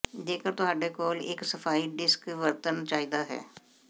ਜੇਕਰ ਤੁਹਾਡੇ ਕੋਲ ਇੱਕ ਸਫਾਈ ਡਿਸਕ ਵਰਤਣ ਚਾਹੀਦਾ ਹੈ